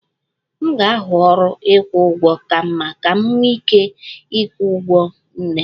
M ga-ahụ ọrụ ịkwụ ụgwọ ka mma ka m wee nwee ike ịkwụ ụgwọ ọgwụ nne